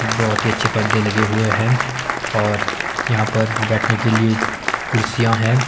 बहोत ही अच्छे परदे लगे हुए हैं और यहां पर बैठने के लिए कुर्सियां है।